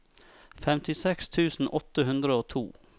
femtiseks tusen åtte hundre og to